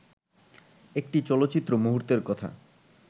একটি চলচ্চিত্র-মুহূর্তের কথা